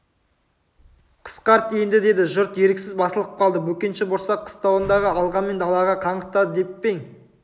қысқарт енді деді жұрт еріксіз басылып қалды бөкенші борсақ қыстауыңды алғанмен далаға қаңғытады деп пе ең